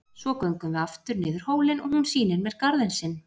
Svo göngum við aftur niður hólinn og hún sýnir mér garðinn sinn.